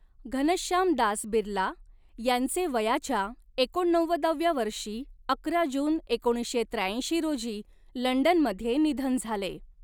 घनश्यामदास बिर्ला यांचे वयाच्या एकोणनव्वदाव्या वर्षी अकरा जून एकोणीसशे त्र्याऐंशी रोजी लंडनमध्ये निधन झाले.